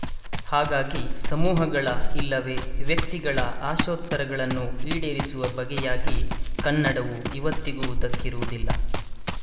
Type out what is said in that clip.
ಹಾಗಾಗಿ ಸಮೂಹಗಳ ಇಲ್ಲವೇ ವ್ಯಕ್ತಿಗಳ ಆಶೋತ್ತರಗಳನ್ನು ಈಡೇರಿಸುವ ಬಗೆಯಾಗಿ ಕನ್ನಡವು ಇವತ್ತಿಗೂ ದಕ್ಕಿರುವುದಿಲ್ಲ